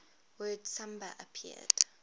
word samba appeared